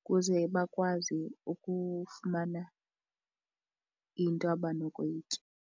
ukuze bakwazi ukufumana into abanokuyitya.